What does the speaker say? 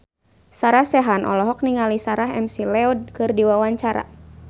Sarah Sechan olohok ningali Sarah McLeod keur diwawancara